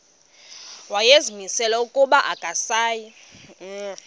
wayezimisele ukuba akasayi